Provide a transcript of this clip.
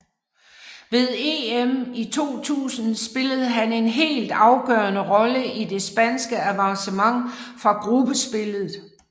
Ved EM i 2000 spillede han en helt afgørende rolle i det spanske avancement fra gruppespillet